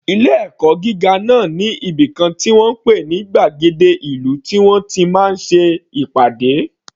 Ilé ẹ̀kọ́ gíga náà ní ibìkan tí wọ́n ń pè ní gbàgéde ìlú tí wọ́n ti máa ń ṣe ìpàdé.